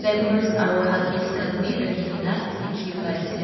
pampers aro huggies khan bi rakhikaena dikhipaiase.